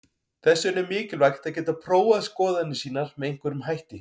Þess vegna er mikilvægt að geta prófað skoðanir sínar með einhverjum hætti.